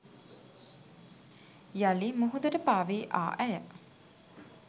යළි මුහුදට පා වී ආ ඇය